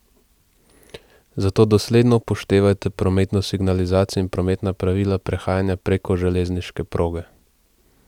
Zato dosledno upoštevajte prometno signalizacijo in prometna pravila prehajanja preko železniške proge!